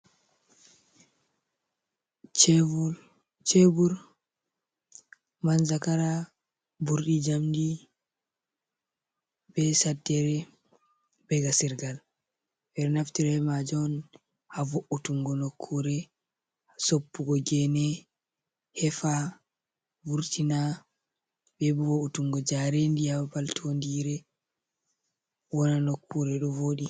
Chebur, chebur, manjagara, ɓurɗi, jamdi, be saddere, ɓe ga sirgal, ɓe ɗo naftira be majum on ha vo’utungo nokkure, soppugo gene, hefa, vurtina, ɓe bo vurtungo jaredi ha babal tondire, wona nokkure ɗo voɗi.